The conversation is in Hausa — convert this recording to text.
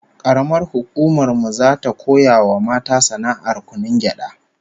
Karamar hukumar mu zata koya wa mata sana'ar kunun gyada